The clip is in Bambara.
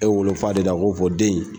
E wolo fa de do wa a k'o fɔ den in